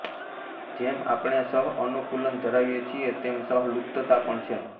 જેમ આપણે સહઅનુકૂલન ધરાવીએ છીએ તેમ સહલુપ્તતા પણ છે